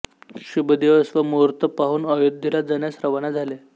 शुभ दिवस व मुहूर्त पाहून अयोध्येला जाण्यास रवाना झाले